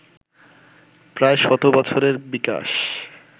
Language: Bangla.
প্রায় শত বছরের বিকাশ